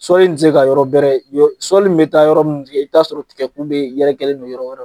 Sɔli in ti se ka yɔrɔ bɛrɛ yɔ sɔli in bɛ taa yɔrɔ munnu tikɛ i be t'aa sɔrɔ tigɛku bee yɛrɛkɛlen don yɔrɔ wɛrɛ